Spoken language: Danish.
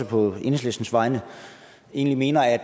på enhedslistens vegne egentlig mener at